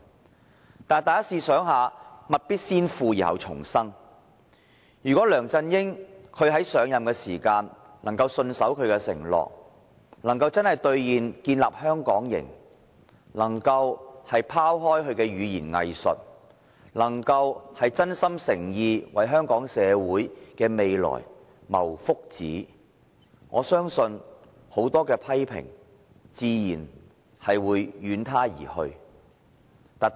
可是，大家試想一下，物必先腐而後蟲生，如果梁振英在上任時可以信守承諾，兌現建立"香港營"，拋開語言"偽術"，真心誠意為香港社會的未來謀福祉，我相信很多批評自會遠他而去。